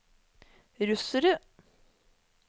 russerne